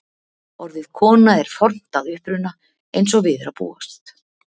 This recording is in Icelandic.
Orðið kona er fornt að uppruna eins og við er að búast.